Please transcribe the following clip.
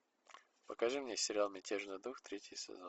покажи мне сериал мятежный дух третий сезон